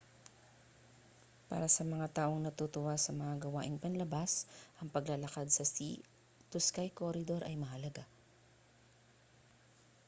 para sa mga taong natutuwa sa mga gawaing panlabas ang paglalakad sa sea to sky corridor ay mahalaga